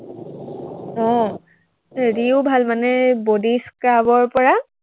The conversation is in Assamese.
আহ হেৰিও ভাল মানে এৰ body scrub ৰ পৰা